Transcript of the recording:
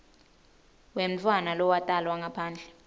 wemntfwana lowatalwa ngaphandle